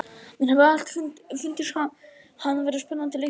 Mér hefur alltaf fundist hann vera spennandi leikmaður.